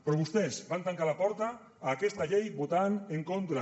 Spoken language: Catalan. però vostès van tancar la porta a aquesta llei votant en contra